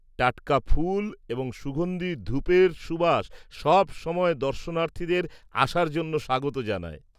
-টাটকা ফুল এবং সুগন্ধি ধূপের সুবাস সবসময় দর্শনার্থীদের আসার জন্য স্বাগত জানায়।